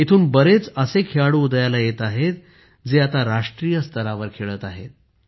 येथून बरेच असे खेळाडू उदयास येत आहेत जे आता राष्ट्रीय स्तरावर खेळत आहेत